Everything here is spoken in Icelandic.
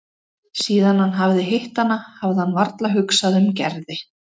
Síðan hann hafði hitt hana hafði hann varla hugsað um Gerði.